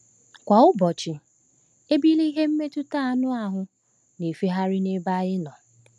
Kwa ụbọchị, ebili ihe mmetụta anụ ahụ na-efegharị n’ebe anyị nọ.